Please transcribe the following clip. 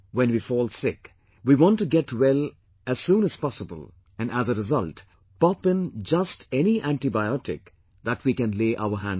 When we fall sick, we want to get well as soon as possible and as a result pop in just any antibiotic that we can lay our hands on